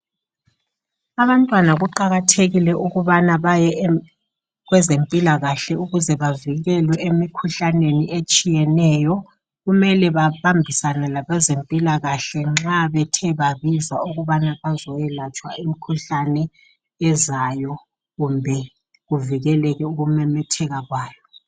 Abantwana kuqakathekile ukubana baye kwezempilakahle ukuze bavikelwe emikhuhlaneni etshiyeneyo, kumele babambisane labezempilakahle nxa bethe babizwa ukubana bazoyelatshwa imikhuhlane ezayo kumbe kuvikeleke ukumemetheka kwayo.